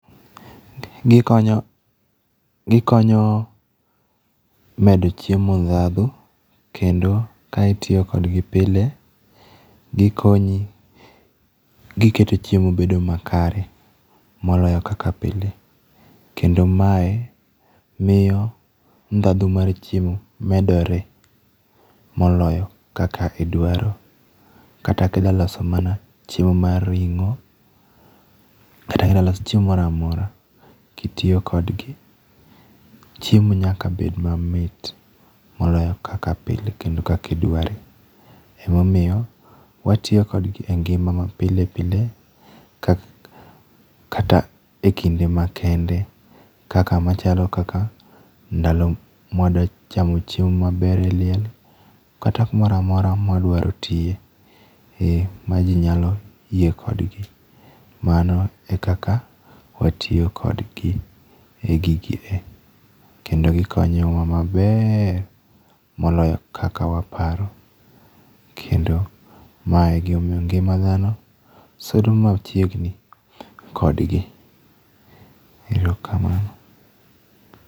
Gikonyo, gikonyo medo chiemo ndhadhu kendo ka itiyo kodgi pile, gikonyi, giketo chiemo bedo makare. Moloyo kaka pile. Kendo mae miyo ndhadhu mar chiemo medore moloyo kaka idwaro. Kata kida loso mana chiemo ma ring'o, kata kidwa loso chiemo moramora kitiyo kodgi, chiemo nyaka bed mamit moloyo kaka pile kendo kaka idware. Emomiyo watiyo kodgi e ngima mapile pile kata e kinde ma kende kaka machalo kaka ndalo mwadachamo chiemo maber e liel, kata kumoramora mwadwaro tiye ma ji nyalo yie kodgi. Mano e kaka watiyo kodgi e gigi e. Kendo gikonyo wa maber moloyo kaka waparo. Kendo mae e gima omiyo ngima dhano sudo machiegni kodgi. Erokamano.